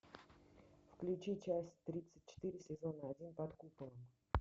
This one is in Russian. включи часть тридцать четыре сезона один под куполом